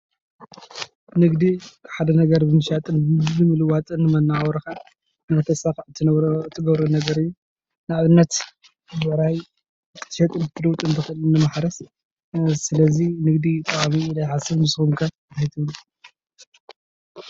ንግዲ ሓደ ነገር ብምሻጥን ብምልዋጥን ንመነባብሮካ ንህተሳክዕ እትገብሮ ነገር እዩ። ንኣብነት ብዕራይ ክትሸይጥን ክትልውጥን ትክእል ንማሕሰር ስለዚ ንግዲ ጠቃሚ እዩ ኢለ ይሓስብ። ንስኩም ከ እንታይ ትብሉ?